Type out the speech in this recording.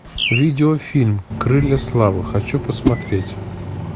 видеофильм крылья славы хочу посмотреть